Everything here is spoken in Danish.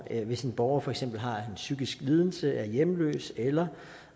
hvis en borger for eksempel har en psykisk lidelse eller er hjemløs eller